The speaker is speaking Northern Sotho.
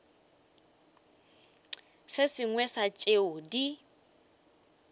se sengwe sa tšeo di